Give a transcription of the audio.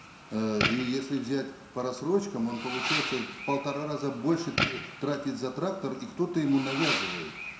э и если взять по рассрочкам он получается в полтора раза больше тратит за трактор и кто то ему навязывает